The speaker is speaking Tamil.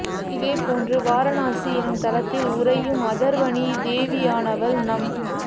இதே போன்று வாரணாஸி எனும் தலத்தில் உறையும் அதர்வணீ தேவியானவள் நம்